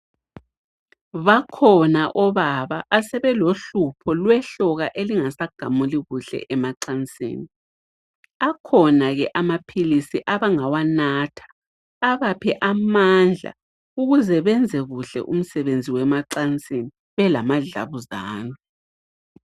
Bakhona obaba asebelohlupho lwehloka elingasagamuli kuhle emacansini. Akhona ke amaphilisi abangawanatha abaphe amandla ukuze benze kuhle umsebenzi wemacansini belamadlabuzane.